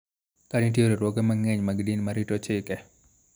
Ka nitie Riwruoge mang�eny mag din ma rito chike .